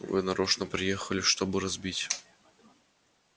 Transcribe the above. вы нарочно приехали чтобы разбить